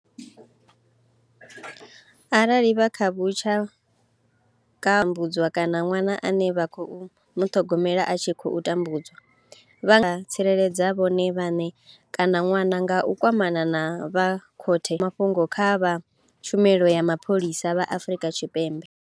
Arali vha kha vhushaka vhune vha tambudzwa kana ṅwana ane vha khou muṱhogomela a tshi khou tambudzwa vha nga dzhia ḽiga vha tsireledza vhone vhaṋe kana ṅwana nga u kwamana na vha khothe kana vha vhiga mafhungo kha vha tshumelo ya mapholisa vha Afrika Tshipembe.